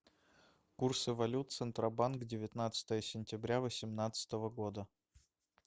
курсы валют центробанк девятнадцатое сентября восемнадцатого года